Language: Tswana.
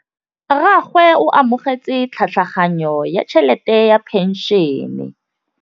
Rragwe o amogetse tlhatlhaganyô ya tšhelête ya phenšene.